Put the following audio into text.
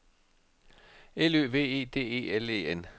L Ø V E D E L E N